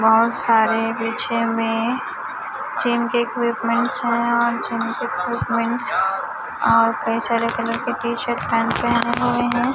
बहुत सारे पीछे में जिम के इक्विपमेंटस है और जिम के इक्विपमेंटस और कई सारे कलर के टी शर्ट पैंट पहने हुए है।